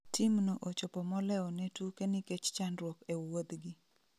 Team no ochopo moleo ne tuke nikech chandruok e wuodhgi